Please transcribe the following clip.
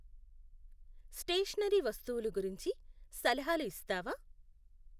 Stationery వస్తువులు గురించి సలహాలు ఇస్తావా?